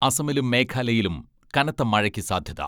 അസമിലും മേഘാലയയിലും കനത്ത മഴയ്ക്ക് സാധ്യത.